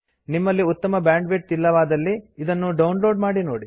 ನಿಮ್ಮಲ್ಲಿ ಉತ್ತಮ ಬ್ಯಾಂಡ್ವಿಡ್ತ್ ಇಲ್ಲವಾದಲ್ಲಿ ಇದನ್ನು ಡೌನ್ ಲೋಡ್ ಮಾಡಿ ನೋಡಿ